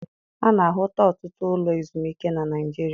A na-ahụta ọtụtụ ụlọ ezumike na Naịjirịa.